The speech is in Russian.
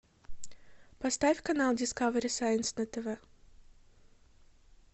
поставь канал дискавери сайнс на тв